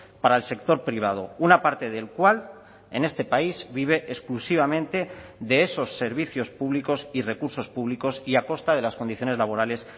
para el sector privado una parte del cual en este país vive exclusivamente de esos servicios públicos y recursos públicos y a costa de las condiciones laborales